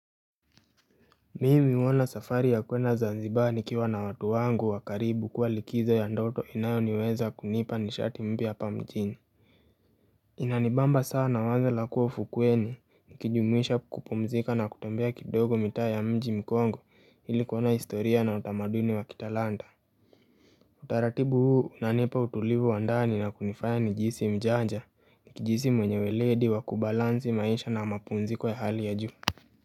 Mimi huona safari ya kuenda zanzibari ikiwa na watu wangu wa karibu kuwa likizo ya ndoto inayo niweza kunipa nishati mpya hapa mjini Inanibamba sana wazo la kuwa ufukweni nikijumuisha kupumzika na kutembea kidogo mitaa ya mji mkongo ili kuona historia na utamaduni wa kitalanta Utaratibu huu unanipa utulivu wa ndani na kunifaya nijihisi mjanja nikijihisi mwenye weledi wa kubalansi maisha na mapumziko ya hali ya juu.